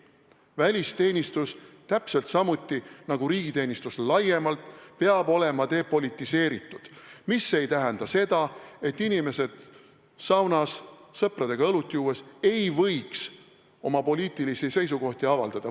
Välisteenistus – täpselt samuti nagu riigiteenistus laiemalt – peab olema depolitiseeritud, aga see ei tähenda seda, et inimesed saunas sõpradega õlut juues ei võiks oma poliitilisi seisukohti avaldada.